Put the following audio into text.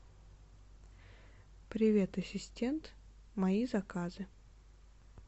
привет ассистент мои заказы